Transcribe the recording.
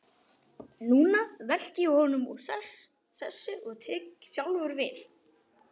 Núna velti ég honum úr sessi og tek sjálfur við.